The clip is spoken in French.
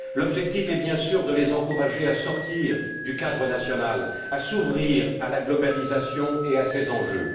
L'objectif est bien sûr de les encourager à sortir du cadre national, à s'ouvrir à la globalisation et à ses enjeux.